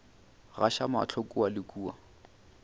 gaša mahlo kua le kua